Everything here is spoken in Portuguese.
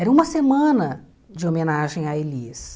Era uma semana de homenagem à Elis.